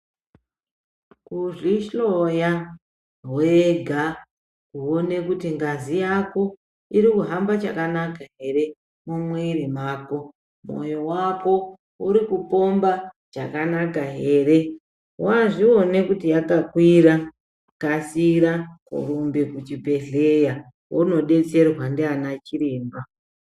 Kuzvihloya wega woone kuti ngazi yako iri kuhamba chakanaka ere mumwiri mwako mwoyo wako uri kupomba chakanaka ere, wazviona kuti yakakwira kasira kurumbe kuchibhedhleya wondodetserwa ndiana chiremba.